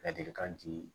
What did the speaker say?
Ladilikan di